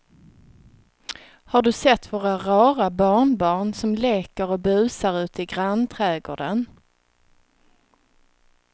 Har du sett våra rara barnbarn som leker och busar ute i grannträdgården!